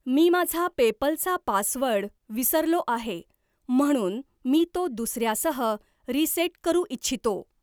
मी माझा पेपल चा पासवर्ड विसरलो आहे म्हणून मी तो दुसर्यासह रीसेट करू इच्छितो.